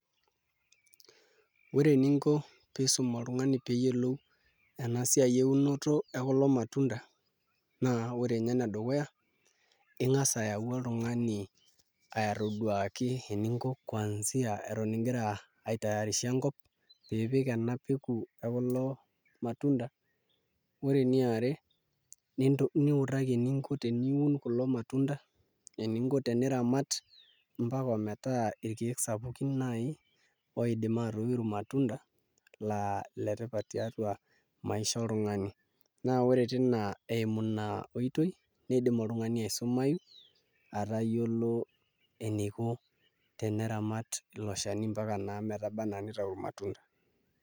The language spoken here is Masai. Ore eninko pee iisum oltung'ani pee eyiolou ena siai ekulo matunda naa ore ninye enedukuya naa ing'as ayau oltung'ani aitoduaki eninko ingira aitayarisha enkop pee ipik ena peku ekulo matunda ore eniare niutaki eninko teniun kulo matunda eninko teniramat ometaa irkeek sapukin naai oidim aatoiu irmatunda laa ile tipat tiatua maisha oltung'ani naa ore tina eimu iina oitoi niidim oltung'ani aisumayu atayiolo eninko teniramat ilo shani naa ometaba enaa nitau irmatunda.